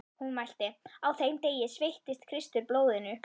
Hún mælti: Á þeim degi sveittist Kristur blóðinu